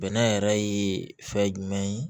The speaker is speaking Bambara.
Bɛnɛ yɛrɛ ye fɛn jumɛn ye